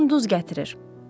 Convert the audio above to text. Yunan duz gətirir.